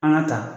An ka ta